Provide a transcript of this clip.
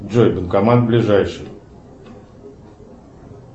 джой банкомат ближайший